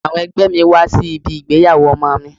Àwọn ẹgbẹ́ mi wá sí ibi ìgbéyàwó ọmọ mi.